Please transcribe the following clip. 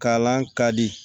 Kalan ka di